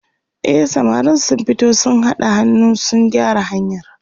e samarin sun fito sun haɗa hannu sun gyara hanyar